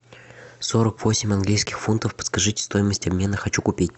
сорок восемь английских фунтов подскажите стоимость обмена хочу купить